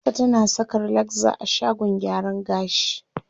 Hafsa tana saka relaxer a shagon gyaran gashi.